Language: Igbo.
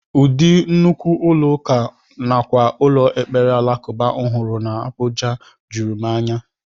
Ụdị nnukwu ụlọ ụka nakwa ụlọ ekpere alakụba m hụrụ n'Abuja juru m anya